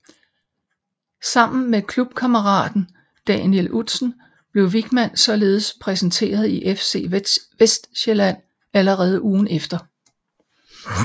Sammen med klubkammeraten Daniel Udsen blev Wichmann således præsenteret i FC Vestsjælland allerede ugen efter